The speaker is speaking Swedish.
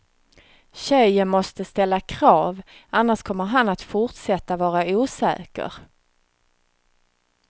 Tjejen måste ställa krav, annars kommer han att forsätta vara osäker.